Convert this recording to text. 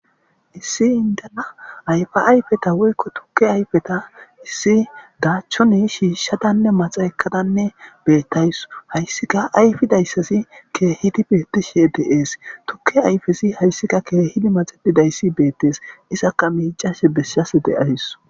issi indana ayfa ayfeta woykko tukke ayfeta issi daachchoni shiishshadanne maxa ekadanne bettays hayssika ayfidayssasi keehidi bettishe deees tukke ayfesi hayssika keehidi maxedidayssi beettes izakka miicashe beshshas de7aysu